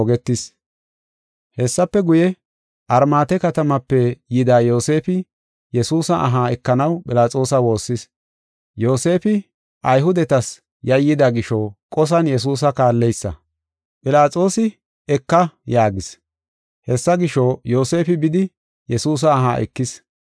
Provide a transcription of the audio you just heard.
Hessafe guye, Armaate katamape yida Yoosefi Yesuusa aha ekanaw Philaxoosa woossis. Yoosefi Ayhudetas yayyida gisho qosan Yesuusa kaalleysa. Philaxoosi, “Eka” yaagis. Hessa gisho, Yoosefi bidi Yesuusa aha ekis.